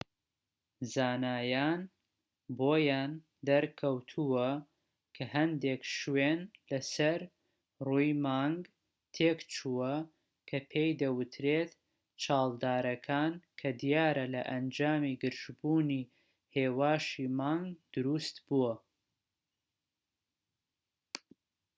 زانایان بۆیان دەرکەوتوە کە هەندێک شوێن لە سەر ڕووی مانگ تێکچووە کە پێی دەوترێت چاڵدارەکان کە دیارە لە ئەنجامی گرژبوونی هێواشی مانگ دروست بووە